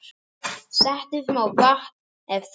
Settu smá vatn ef þarf.